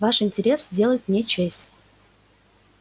ваш интерес делает мне честь